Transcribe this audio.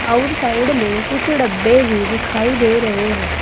आउर साइड में कुछ डब्बे भी दिखाई दे रहे हैं।